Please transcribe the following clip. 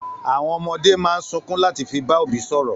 Àwọn ọmọdé máa ń sunkún láti fi bá òbí sọ̀rọ̀.